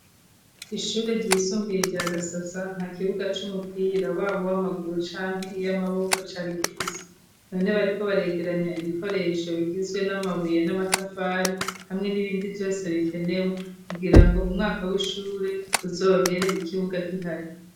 Ishure ryisumbiye rya Gasasa nta kibuga c'umupira wabo w'amaguru canke iy'amaboko cari gifise none bariko baregeranya ibikoresho bigizwe n'amabuye n'amatafari hamwe n'ibindi vyose bikenewe kugirango umwaka w'ishure uzohere ikibuga k'ihari.